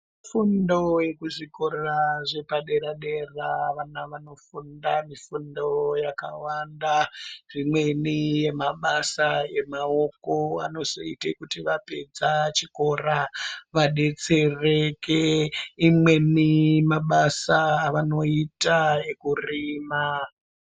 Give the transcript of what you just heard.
Fundo yezvikora zvepadera dera, vana vanoenda mifundo yakawanda. Zvimweni mabasa emaoko anozoita kuti vapedza chikora vadetsereke. Imweni mabasa avanoita ekurima.